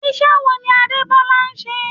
Iṣẹ́ wo ni Adebola ń ṣe?